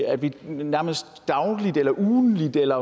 at vi nærmest dagligt eller ugentligt eller